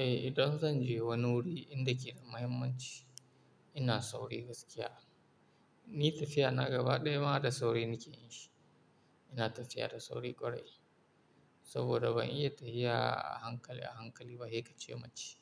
Eh, idan zan je wani wuri inda keda muhimmanci, ina sauri gaskiya. Ni tafiya na gaba ɗaya ma da sauri nake in shi. Ina tafiya da sauri ƙwarai. Saboda ban iya tafiya a hankali a hankali ba, sekace mace